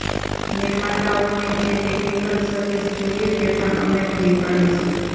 નિર્માતાઓને જે technical service જોઈએ તે પણ અમે પૂરી પાડીશું